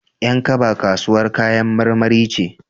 Yan kaba kasuwar kayan marmari ce.